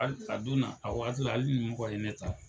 Alisa don nataw la